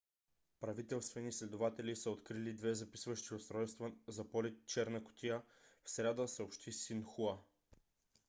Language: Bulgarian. правителствени следователи са открили две записващи устройства за полети черна кутия в сряда съобщи синхуа